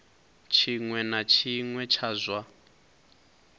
tshiṅwe na tshiṅwe tsha zwa